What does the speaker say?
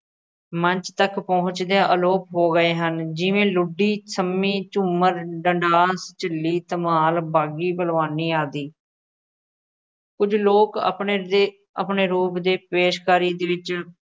ਮੰਚ ਤੱਕ ਪਹੁੰਚਦਿਆਂ ਅਲੋਪ ਹੋ ਗਏ ਹਨ ਜਿਵੇਂ ਲੁੱਡੀ, ਸ਼ੰਮੀ, ਝੂੰਮਰ, ਡੰਡਾਲ, ਝਿੱਲੀ, ਧਮਾਲ, ਬਾਗੀ, ਭਲਵਾਨੀ ਆਦਿ ਕੁੱਝ ਲੋਕ ਆਪਣੇ ਦੇ ਆਪਣੇ ਲੋਕ ਦੇ ਪੇਸ਼ਕਾਰੀ ਵਿੱਚ